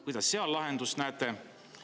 Kuidas seal lahendust näete?